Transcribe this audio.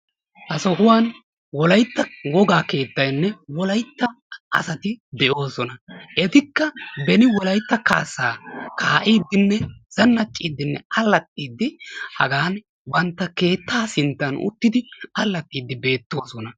Ha sohuwan wolaytta wogaa keettaynne wolaytta asati de'oosona. Etikka beni wolaytta kaassaa kaa'iiddinne zannacciiddinne allaxxiiddi hagan bantta keettaa sinttan uttidi allaxxiiddi beettoosona.